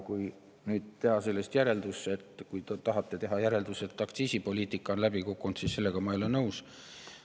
Kui nüüd teha sellest järeldus või kui te tahate teha järelduse, et aktsiisipoliitika on läbi kukkunud, siis sellega ma ei ole nõus.